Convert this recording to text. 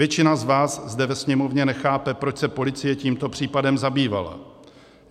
Většina z vás zde ve Sněmovně nechápe, proč se policie tímto případem zabývala.